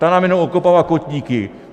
Ta nám jenom okopává kotníky.